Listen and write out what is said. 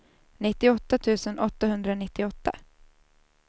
nittioåtta tusen åttahundranittioåtta